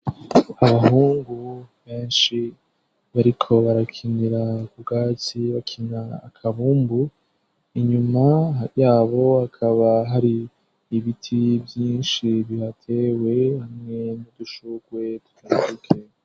Abahungu benshi bariko barakinira ku bwatsi, bakina akabumbu ,inyuma yabo hakaba hari ibiti vyinshi bihateye hamwe n'udushukwe tutabuke.